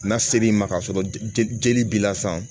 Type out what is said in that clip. N'a ser'i ma k'a sɔrɔ jeli b'i la sisan